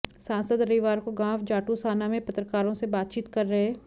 सांसद रविवार को गांव जाटूसाना में पत्रकारों से बातचीत कर रहे